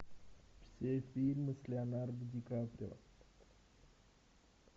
все фильмы с леонардо ди каприо